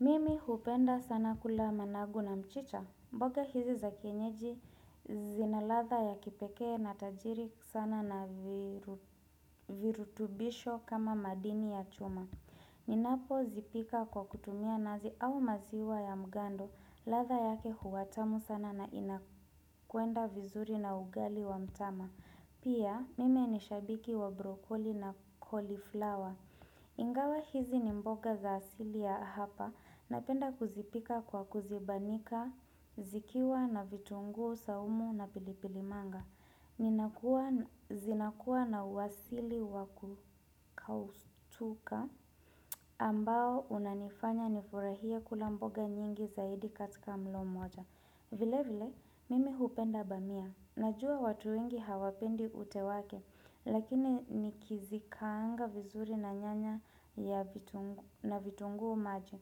Mimi hupenda sana kula managu na mchicha, mboga hizi za kienyeji zina latha ya kipekee na tajiri sana na virutubisho kama madini ya chuma. Ninapozipika kwa kutumia nazi au maziwa ya mgando. Latha yake huwa tamu sana na inakwenda vizuri na ugali wa mtama. Pia mimi ni shabiki wa brokoli na cauliflower. Ingawa hizi ni mboga za asili ya hapa na penda kuzipika kwa kuzibanika, zikiwa na vitunguu saumu na pilipilimanga zinakuwa na uasili wakukautuka ambao unanifanya nifurahie kula mboga nyingi zaidi katika mlo moja vile vile, mimi hupenda bamia. Najua watu wengi hawapendi ute wake, lakini nikizikaanga vizuri na nyanya na vitunguu maji.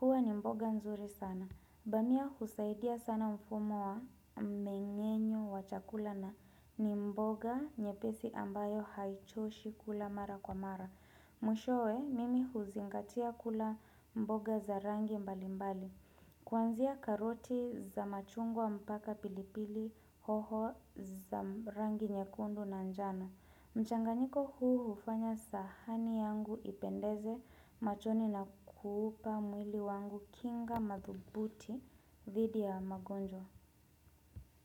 Huwa ni mboga nzuri sana. Bamia husaidia sana mfumo wa mmeng'enyo wa chakula na ni mboga nyepesi ambayo haichoshi kula mara kwa mara. Mwishowe, mimi huzingatia kula mboga za rangi mbali mbali. Kwanzia karoti za machungwa mpaka pilipili hoho za rangi nyekundu na njano. Mchanganiko huu hufanya sahani yangu ipendeze machoni na kuupa mwili wangu kinga madhubuti dhidi ya magonjwa.